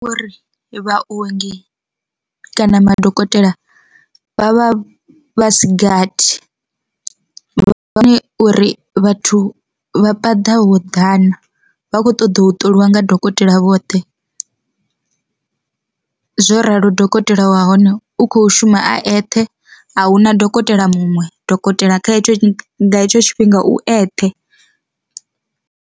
Uri vhaongi kana madokotela vha vha vhasi gathi, vha uri vhathu vha paḓa ho ḓana vha kho ṱoḓa u ṱoliwa dokotela vhoṱhe. Zwo ralo dokotela wa hone u kho shuma a eṱhe ahuna dokotela muṅwe, dokotela kha hetsho hetsho tshifhinga u eṱhe.